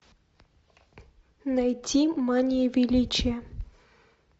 найти мания величия